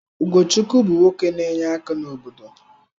Ugochukwu bụ nwoke n'enye aka n’obodo.